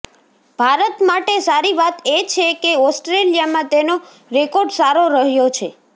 ભારત માટે સારી વાત એ છે કે ઓસ્ટ્રેલિયામાં તેનો રેકોર્ડ સારો રહ્યો છે